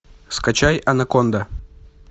скачай анаконда